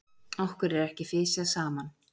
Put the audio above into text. Okkur er ekki fisjað saman!